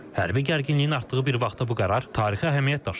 Hərbi gərginliyin artdığı bir vaxtda bu qərar tarixi əhəmiyyət daşıyır.